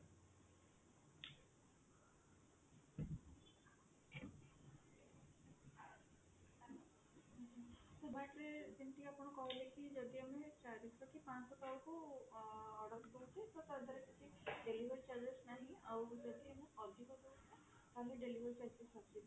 ଯେମତି ଆପଣ କହିଲେକି ଯଦି ଆମେ ଚାରିଟା କି ପାଞ୍ଚ ଟା ଅର୍ଡର କରିକି delivery charges ନାହିଁ ଆଉ